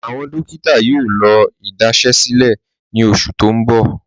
Awọn dòkítà yóò lọ́ idasẹ̀sílẹ̀ ní ọṣù tí n bọ̀.